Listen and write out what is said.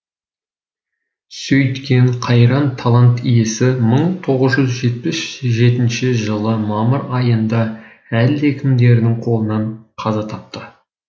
сөйткен қайран талант иесі мың тоғыз жүз жетпіс жетінші жылы мамыр айында әлдекімдердің қолынан қаза тапты